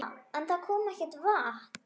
En það kom ekkert vatn.